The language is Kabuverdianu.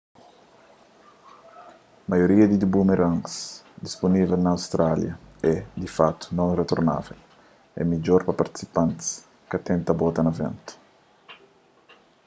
maioria di boomerangs dispunível na austrália é di fakutu non-retornável é midjor pa prinsipiantis ka tenta bota na ventu